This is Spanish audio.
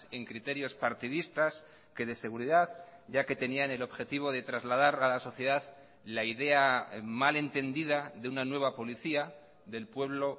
en criterios partidistas que de seguridad ya que tenían el objetivo de trasladar a la sociedad la idea mal entendida de una nueva policía del pueblo